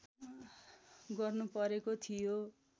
गर्नु परेको थियो